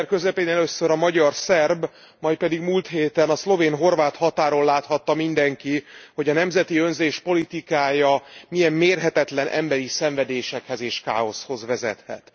Szeptember közepén először a magyar szerb, majd pedig múlt héten a szlovén horvát határon láthatta mindenki, hogy a nemzeti önzés politikája milyen mérhetetlen emberi szenvedésekhez és káoszhoz vezethet.